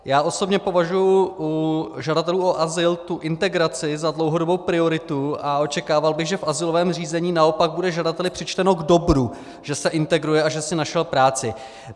Já osobně považuji u žadatelů o azyl tu integraci za dlouhodobou prioritu a očekával bych, že v azylovém řízení naopak bude žadateli přičteno k dobru, že se integruje a že si našel práci.